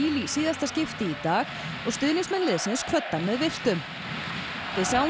í síðasta skipti í dag og stuðningsmenn liðsins kvöddu hann með virktum við sjáum